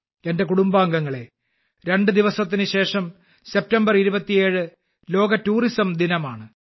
എന്റെ കുടുംബാംഗങ്ങളെ രണ്ടുദിവസത്തിനുശേഷം സെപ്റ്റംബർ 27 ലോക ടൂറിസം ദിനമാണ്